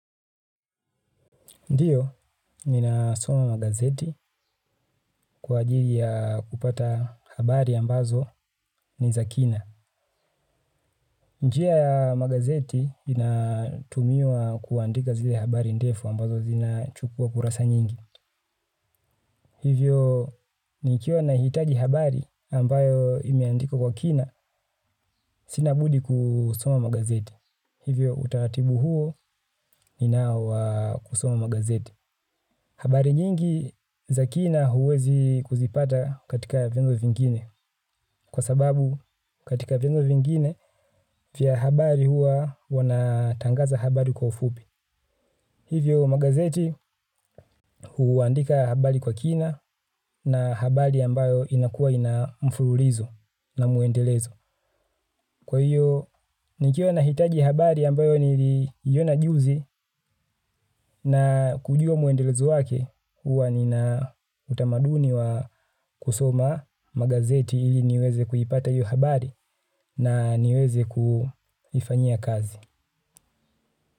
Ndiyo, nina soma magazeti kwa ajili ya kupata habari ambazo ni za kina. Njia ya magazeti inatumiwa kuandika zile habari ndefu ambazo zina chukua kurasa nyingi. Hivyo, nikiwa na hitaji habari ambayo imeandikwa kwa kina, sinabudi kusoma magazeti. Hivyo, utaratibu huo ni nao wa kusoma magazeti. Habari nyingi za kina huwezi kuzipata katika vyombo vingine. Kwa sababu katika vyombo vingine vya habari hua wanatangaza habari kwa ufupi. Hivyo magazeti huandika habari kwa kina na habari ambayo inakua ina mfululizo na muendelezo. Kwa hiyo, nikiwa nahitaji habari ambayo niliiona juzi na kujua mwendelezo yake, huwa nina utamaduni wa kusoma magazeti ili niweze kuipata hiyo habari na niweze kuifanyia kazi.